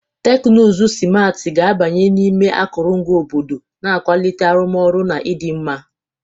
Teknụzụ simarti ga-abanye n'ime akụrụngwa obodo, na-akwalite arụmọrụ na ịdị mma.